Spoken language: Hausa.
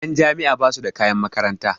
Ƴan jami'a basu da kayan makaranta